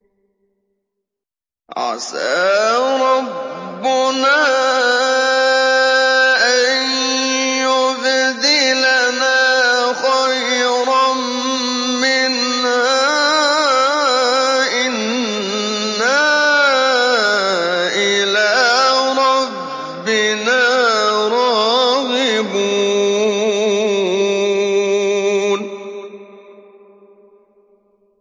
عَسَىٰ رَبُّنَا أَن يُبْدِلَنَا خَيْرًا مِّنْهَا إِنَّا إِلَىٰ رَبِّنَا رَاغِبُونَ